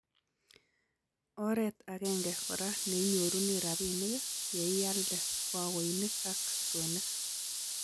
Oreet agenge kora neinyorunee rabiinik yeialde baoinik ak kwenik